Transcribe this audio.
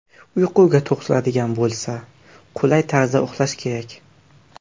Uyquga to‘xtaladigan bo‘lsa, qulay tarzda uxlash kerak.